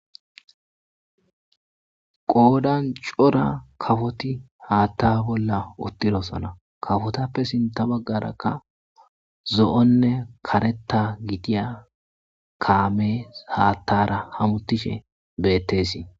Qoodan cora kafoti haatta bolla uttidosana kafotappe sinta baggarakka zo'onne kareta gidiya kaamee haattara hamutishe bettesii.